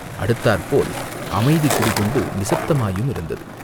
அடுத்தாற்போல் அமைதி குடிகொண்டு நிசப்தமாயுமிருந்தது.